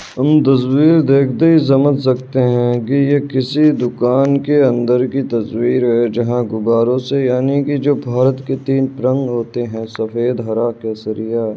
हम तस्वीर देखते ही समझ सकते हैं कि ये किसी दुकान के अंदर की तस्वीर है। जहाँ गुबारों से यानी कि जो भारत के तीन रंग होते हैं सफेद हरा केसरिया --